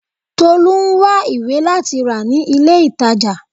Tolu ń wá ìwé láti rà ní ilé ìtàjà.